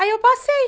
Aí eu passei.